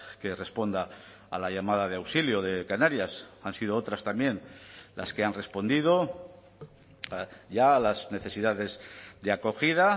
que responda a la llamada de auxilio de canarias han sido otras también las que han respondido ya a las necesidades de acogida